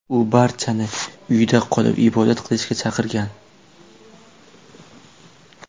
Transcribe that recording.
U barchani uyda qolib, ibodat qilishga chaqirgan.